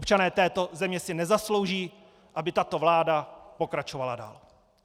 Občané této země si nezaslouží, aby tato vláda pokračovala dál.